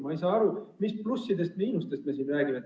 Ma ei saa aru, mis plussidest ja miinustest me siin räägime.